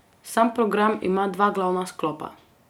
Sam program ima dva glavna sklopa.